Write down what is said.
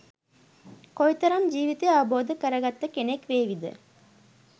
කොයිතරම් ජීවිතය අවබෝධ කරගත්ත කෙනෙක් වේවිද?